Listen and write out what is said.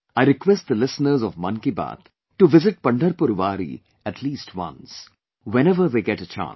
I request the listeners of "Mann Ki Baat" to visit Pandharpur Wari at least once, whenever they get a chance